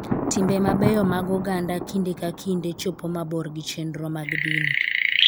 Timbe mabeyo mag oganda kinde ka kinde chopo mabor gi chenro mag dini.